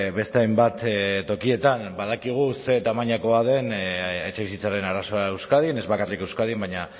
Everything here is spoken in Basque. beste hainbat tokietan badakigu ze tamainakoa den etxebizitzaren arazoa euskadin ez bakarrik euskadin baina